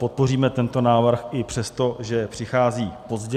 Podpoříme tento návrh i přesto, že přichází pozdě.